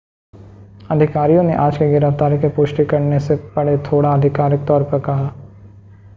अधिकारियों ने आज की गिरफ्तारी की पुष्टि करने से परे थोडा आधिकारिक तौर पर कहा